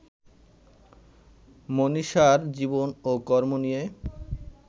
মনীষার জীবন ও কর্ম নিয়ে